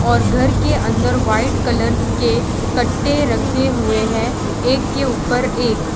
और घर के अंदर व्हाइट कलर के कट्टे रखे हुए हैं एक के ऊपर एक।